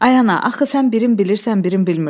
Ay ana, axı sən birin bilirsən, birin bilmirsən.